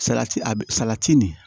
Salati a bi salati nin